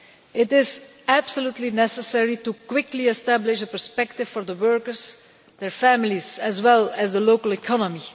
It is absolutely necessary to quickly establish a perspective for the workers, their families, as well as the local economy.